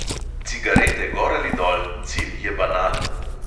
Cigarete gor ali dol, cilj je banalen.